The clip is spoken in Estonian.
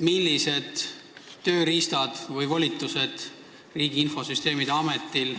Millised tööriistad või volitused Riigi Infosüsteemi Ametil,